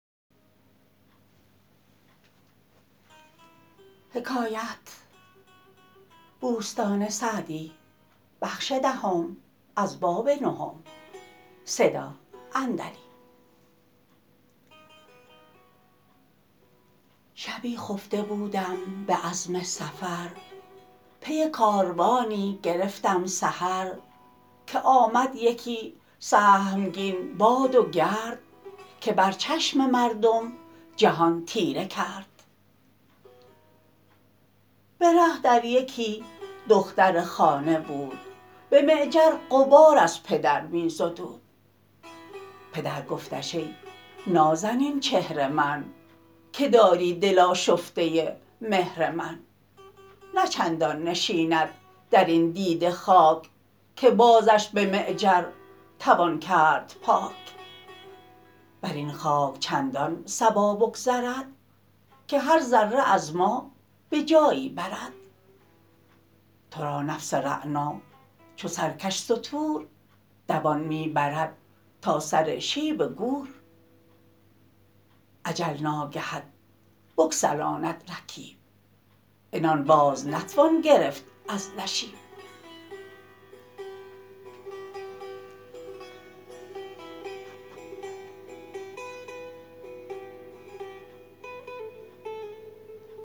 شبی خفته بودم به عزم سفر پی کاروانی گرفتم سحر که آمد یکی سهمگین باد و گرد که بر چشم مردم جهان تیره کرد به ره در یکی دختر خانه بود به معجر غبار از پدر می زدود پدر گفتش ای نازنین چهر من که داری دل آشفته مهر من نه چندان نشیند در این دیده خاک که بازش به معجر توان کرد پاک بر این خاک چندان صبا بگذرد که هر ذره از ما به جایی برد تو را نفس رعنا چو سرکش ستور دوان می برد تا سر شیب گور اجل ناگهت بگسلاند رکیب عنان باز نتوان گرفت از نشیب